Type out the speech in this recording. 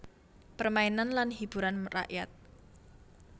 Permainan lan hiburan rakyat